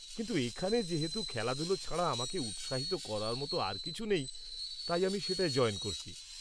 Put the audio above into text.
কিন্তু এখানে যেহেতু খেলাধুলো ছাড়া আমাকে উৎসাহিত করার মতো আর কিছু নেই, তাই আমি সেটায় জয়েন করেছি।